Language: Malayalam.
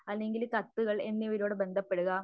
അല്ലെങ്കിൽ കത്തുകൾ എന്നിവയിലൂടെ ബന്ധപ്പെടുക